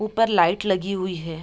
ऊपर लाइट लगी हुई है।